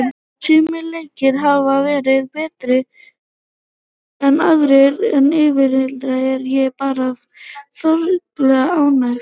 Sumir leikir hafa verið betri en aðrir en yfir heildina er ég bara þokkalega ánægð.